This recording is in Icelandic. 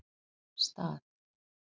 Stað